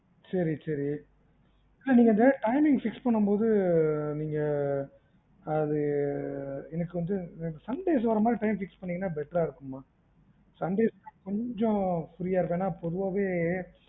சேரி சேரி அதா நீங்க அந்த timing fix பண்ணும் போது நீங்க அது எனக்கு வந்து எனக்கு Sundays வர்ர மாதிரி time fix பண்ணிங்கன்னா better ஆ இருக்குமா Sundays தா கொஞ்சம் free யா இருக்கும், ஏன்னா பொதுவாவே